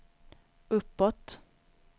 uppåt